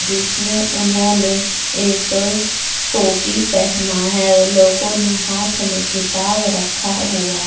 जिस में उन्होने एक टोपी पहना है और लोगों ने हाथ में किताब रखा हुआ ---